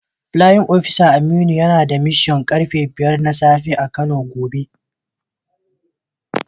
Playin opisa Aminu yana da mishan da karfe 5 na safe a kano gobe.